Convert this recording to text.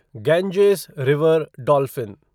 Ganges river dolphin